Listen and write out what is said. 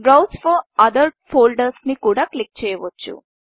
బ్రౌస్ for other foldersబ్రౌజ్ for other ఫోల్డర్స్ని కూడా క్లిక్ చేయవచ్చు